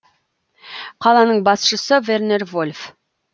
қаланың басшысы вернер вольф